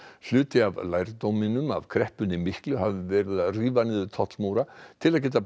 hluti af lærdóminum af kreppunni miklu hafi verið að rífa niður tollamúra til að geta